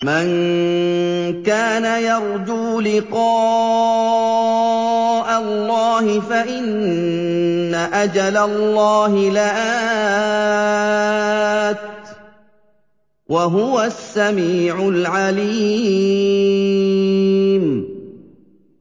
مَن كَانَ يَرْجُو لِقَاءَ اللَّهِ فَإِنَّ أَجَلَ اللَّهِ لَآتٍ ۚ وَهُوَ السَّمِيعُ الْعَلِيمُ